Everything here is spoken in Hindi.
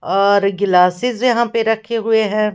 और गिलासिस यहां पे रखे हुए हैं।